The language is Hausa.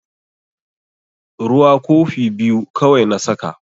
Ruwa kofi biyu kawai na saka.